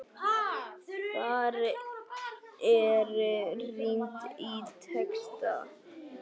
Þar er rýnt í texta.